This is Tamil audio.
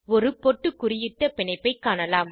ஒரு பொட்டுகுறியிட்ட பிணைப்பைக் காணலாம்